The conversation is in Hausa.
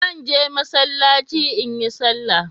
Zan je Masallaci in yi salah.